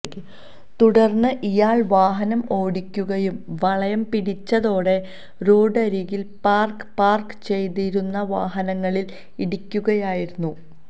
തുടര്ന്ന് ഇയാള് വാഹനം ഓടിക്കുകയും വളയം പിടിച്ചതോടെ റോഡരികില് പാര്ക്ക പാര്ക്ക് ചെയ്തിരുന്ന വാഹനങ്ങളില് ഇടിക്കുകയായിരുന്നു